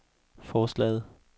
forslaget